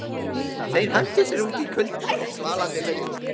Þeir hentu sér út í kalda og svalandi laugina.